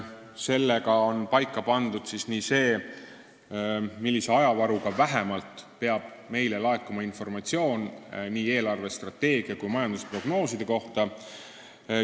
Sellega on paika pandud see, vähemalt millise ajavaruga peab meile laekuma informatsioon nii eelarvestrateegia kui ka majandusprognooside kohta.